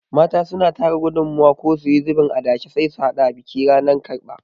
Mata suna tara gudumawa ko suyi zubin adashe sai su haɗa biki ranan karɓa